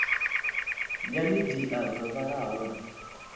ya midia dzo vhalaho na